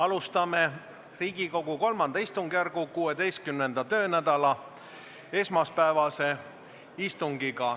Alustame Riigikogu III istungjärgu 16. töönädala esmaspäevast istungit.